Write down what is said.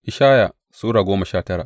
Ishaya Sura goma sha tara